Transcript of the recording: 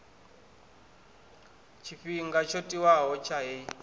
tshifhinga tsho tiwaho tsha heyi